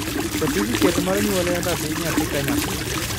satifiket mar nyuol en ratich nyathi ka nyathi